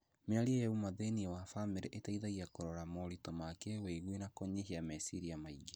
Mĩario ya ũma thĩinie wa bamĩrĩ ĩteithagia kũrora moritũ ma kĩwĩigwi na kũnyihia meciria maingĩ.